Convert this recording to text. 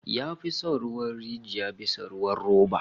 Ya fi son ruwan rijiya bisa ruwan roba